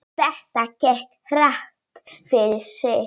Þetta gekk hratt fyrir sig.